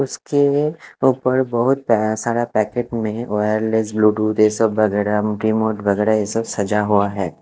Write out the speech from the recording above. उसके ऊपर बहुत पै-सारे पैकेट मे वायरलेस ब्लूटूथ यह सब वगैरह रिमोट वगैरह सजा हुआ है।